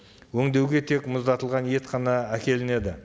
өңдеуге тек мұздатылған ет қана әкелінеді